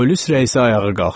Polis rəisi ayağa qalxdı.